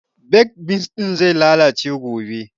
Baked beans ɗin zai lalace gobe